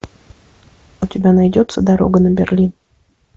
у тебя найдется дорога на берлин